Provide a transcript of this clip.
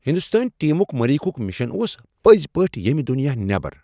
ہندوستٲنۍ ٹیمُک مریخک مشن اوس پٔزۍ پٲٹھۍ ییمہِ دُنِیاہ نیبر ۔